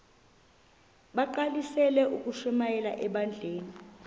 bagqalisele ukushumayela ebandleni